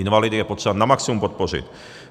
Invalidy je potřeba na maximum podpořit.